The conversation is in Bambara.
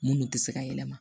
Minnu tɛ se ka yɛlɛma